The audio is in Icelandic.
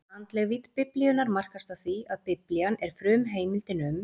Andleg vídd Biblíunnar markast af því, að Biblían er frumheimildin um